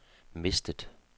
mistet